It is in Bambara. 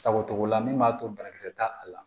Sago togo la min b'a to banakisɛ t'a a la